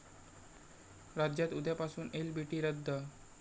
राज्यात उद्यापासून एलबीटी रद्द